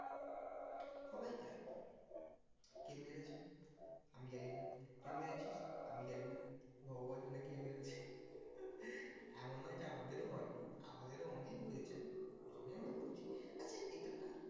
সবাই গায়েব কে মেরেছে? আমি জানি না, তুই মেরেছিস? আমি জানি না ভগবান জানে কে মেরেছে এমন নয় যে আমাদেরও হয়নি আমাদেরও অনেক হয়েছে ওই জন্যই আমরা করেছি আচ্ছা এটা না